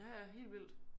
Ja ja helt vildt